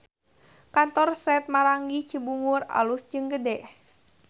Kantor Sate Maranggi Cibungur alus jeung gede